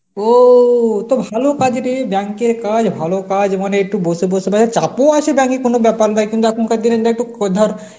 ও তো ভালো কাজ রে bank এর কাজ ভালো কাজ মানে একটু বসে বসে মানে চাপ ও দেখে কোন ব্যাপার লয়, কিন্তু এখনকার দিনে লয় তো ধর